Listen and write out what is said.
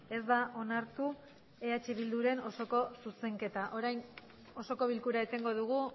ez da onartu eh bilduren osoko zuzenketa orain osoko bilkura etengo dugu